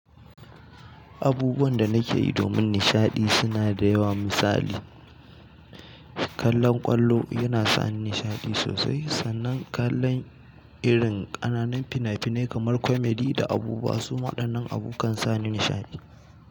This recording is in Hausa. Abubuwan da nake yi domin nishaɗi suna da yawa. Misali, kallon ƙwallo yana sa ni nishaɗi sosai, sannan kallon irin ƙananan fina-finai kamar "comedy" da "abubuwa" su waɗanan abu kan sa ni nishaɗi.